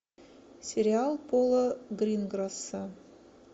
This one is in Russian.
сериал пола гринграсса